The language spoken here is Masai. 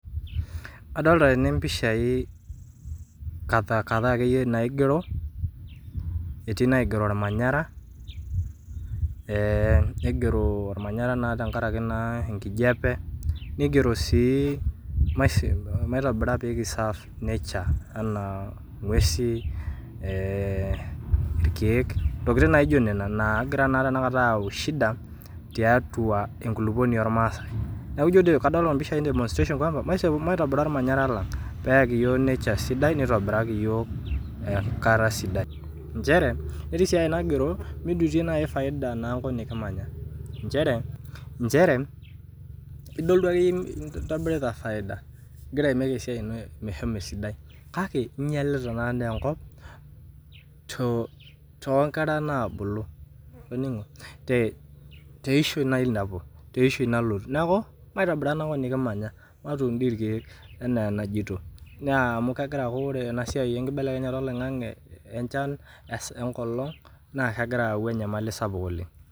Adolita tene mpishaii kata ake iye naigero, etii naigero irmanyara, neigero ilmanyara naake iye tengaraki inkijepe, neigero sii ilmasin maitobirra peekisaf nature anaa inguesi, irkeek ,ntokitin naijo nena naa egira naa tena kata ayau ishida tiatua enkuluponi olmaasai, naaku ijo dei kadol empishai e demostrations kake maitobira ilmanyara lang peakii yook nature sidai neitobiraki yook enkare sidai, inchere etii sii enaigero mijitie nai efaida naa enkop nikimanya inchere idolita ake iye nemeeta efaida egira aimeek esiai ino meshomo esidai kake inyalita naa enkop too inkera naabulu te ishoi nailiapu, te ishoi nalotu naaku maitobira naa eweji nikimanya, matuun dei ilkeek enaa enajoto, naa amu kegira aaku ore ena siaai enkibelekenyata olaing'ang'e enchan enkolong naa kegira ayau enyamali sapuk oleng.